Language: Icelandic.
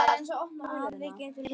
Afl getur verið